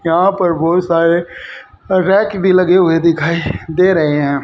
यहां पर बहुत सारे रैक भी लगे हुए दिखाई दे रहे हैं।